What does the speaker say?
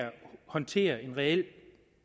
håndtere en reel